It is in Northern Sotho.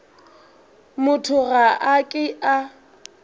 motho ga a ke a